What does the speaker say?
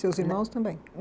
Seus irmãos também?